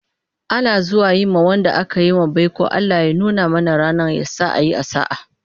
Ana zuwa Yi ma Wanda akayi wa baiko"Allah ya nuna mana rannan, yasa a Yi a sa'a"